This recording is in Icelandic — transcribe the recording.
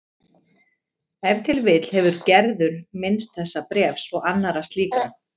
Ef til vill hefur Gerður minnst þessa bréfs og annarra slíkra